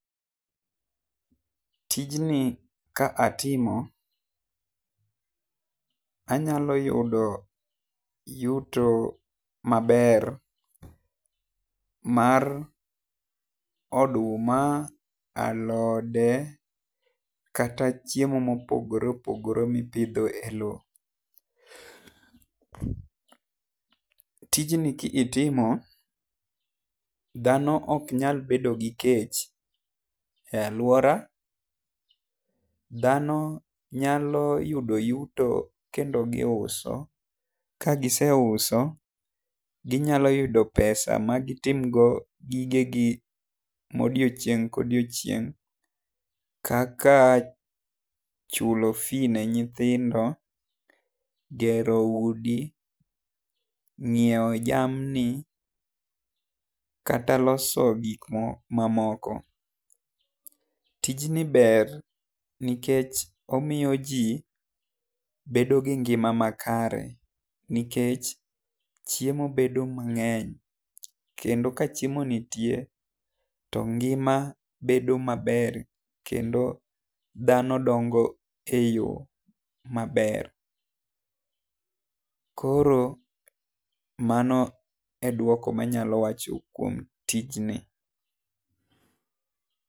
Tijni ka atimo anyalo yudo yuto ma ber mar oduma, alode, kata chiemo ma opogore opogore mi ipidho e loo. Tijni ki itimo dhano ok nyal bedo gi kech e lauora. Dhano nyalo yudo yuto kendo gi uso ka giseuso gi nnyalo yudo pesa ma gi tim go gige gi ma odiechieng ka odhiechieng kaka chulo fee ne nyithindo, gero udi, nyiewo jamni, kata loso gik ma moko. Tij i ber nikech omiyo ji bedo gi ngima makare nikech chiemo bedo mang'eny kendo ka chiemo nitie to ngima bedo ma ber kendo dhano dongo e yo ma ber. koro mano e dwoko ma anyalo wacho kuom tijni.